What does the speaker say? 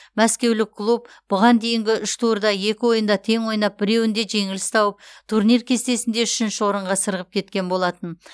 мәскеулік клуб бұған дейінгі үш турда екі ойында тең ойнап біреуінде жеңіліс тауып турнир кестесінде үшінші орынға сырғып кеткен болатын